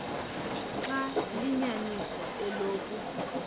xaba liyinyaniso eloku